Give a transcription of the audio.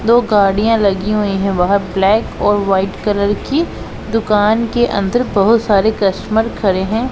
दो गाड़ियां लगी हुई है वहां ब्लैक और वाइट कलर की दुकान के अंदर बहोत सारे कस्टमर खड़े है।